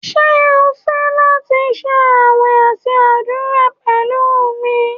Ṣe o fẹ lati ṣe awẹ ati adura pẹlu mi?